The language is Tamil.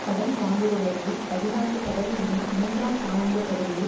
கடன் வாங்குபவர்களில் பதினான்கு சதவிகிதம் மூன்றாம் காலாண்டுப் பகுதியில்